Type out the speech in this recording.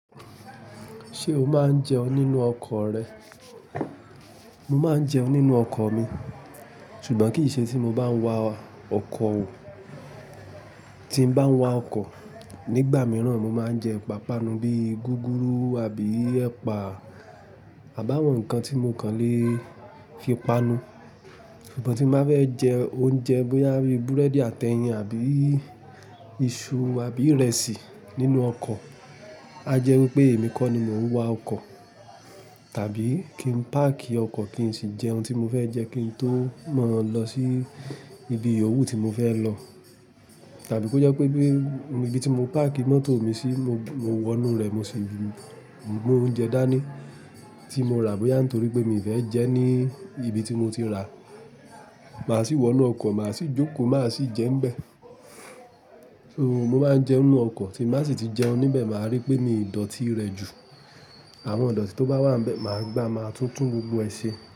Ṣé o máa ń jẹun nínú ọkọ̀ rẹ? Mo máa ń jẹun nínú ọkọ̀ mi, ṣùgbọ́n kì í ṣe tí mo bá ń wa ọkọ̀ o. Tí ǹ bá ń wa ọkọ̀, nígbà mìíràn mo máa ń jẹ ìpàpanu bíi gúgúrú àbí ẹ̀pà àbáwọn nǹkan tí mo kàn lè fi panu. Ṣùgbọ́n tí ǹ bá fẹ́ jẹ oúnjẹ bóyá bí búrẹ́dì àti ẹyin àbí iṣu, àbí ìrẹsì nínú ọkọ̀, á jẹ́ wípé èmi kọ́ ni mo ń wa ọkọ̀ tàbí, kí n páàkì ọkọ̀ kí n sì jẹ ohun tí mo fẹ́ jẹ kí n tó mọ́ lọ sí ibi òwú tí mo fẹ́ lọ. Tàbi kò jé pé, ni ìbì tì mọ̀ pàákì mòtọ mì sì, mò wónú ré mó sí mú òúnjé dàání tì mò rà bòyà nitòrípé màá si wó inú òkó màà, si jòókọ màá si jé nibé. Mò mà n jéún nínú okó, tí mò bà si ti jèún nibé mà ripé mi ò dòtí ré jú. Àwòn idòtì tòbà wà nibè, mà gbà mà tún tún gbògbó èsé.